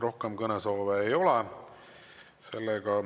Rohkem kõnesoove ei ole.